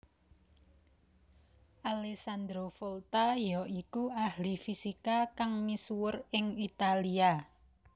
Alessandro Volta ya iku ahli fisika kang misuwur ing Italia